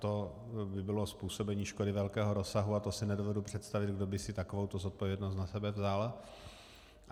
To by bylo způsobení škody velkého rozsahu a to si nedovedu představit, kdo by si takovouto zodpovědnost na sebe vzal.